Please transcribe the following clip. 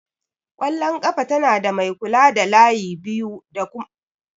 ƙwallon ƙafa tana da mai kula da layi biyu da alƙalin wasa.